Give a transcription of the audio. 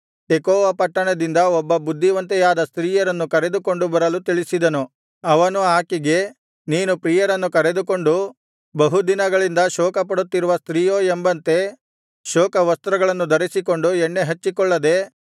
Tekoa ಪಟ್ಟಣದಿಂದ ಒಬ್ಬ ಬುದ್ಧಿವಂತೆಯಾದ ಸ್ತ್ರೀಯನ್ನು ಕರೆದುಕೊಂಡು ಬರಲು ತಿಳಿಸಿದನು ಅವನು ಆಕೆಗೆ ನೀನು ಪ್ರಿಯರನ್ನು ಕಳೆದುಕೊಂಡು ಬಹು ದಿನಗಳಿಂದ ಶೋಕಪಡುತ್ತಿರುವ ಸ್ತ್ರೀಯೋ ಎಂಬಂತೆ ಶೋಕವಸ್ತ್ರಗಳನ್ನು ಧರಿಸಿಕೊಂಡು ಎಣ್ಣೆಹಚ್ಚಿಕೊಳ್ಳದೆ